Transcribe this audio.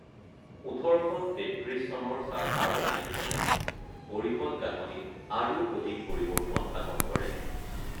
১৮৩৩ চনৰ চাৰ্টাৰ আইনখনে পৰিষদৰ গাঁথনিত আৰু অধিক পৰিৱৰ্তন সাধন কৰে।